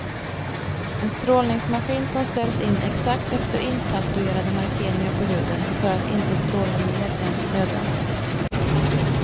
En strålningsmaskin som ställs in exakt efter intatuerade markeringar på huden för att inte stråla mer än nödvändigt.